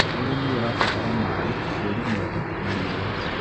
ũrĩmi ũrabatara maĩ, tĩri mwega, na riũa.